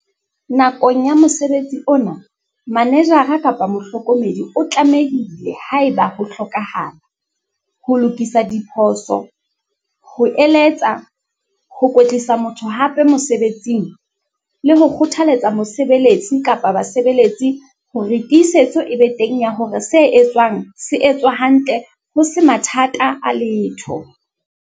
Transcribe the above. Nakong ya mosebetsi ona, manejara kapa mohlokomedi o tlamehile, haeba ho hlokahala, ho lokisa diphoso, ho eletsa, ho kwetlisa motho hape mosebetsing, le ho kgothaletsa mosebeletsi kapa basebeletsi hore tiisetso e be teng ya hore se etswang se etswa hantle ho se mathata a letho.